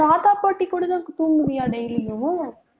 தாத்தா, பாட்டி கூட தான் தூங்குவியா daily யும்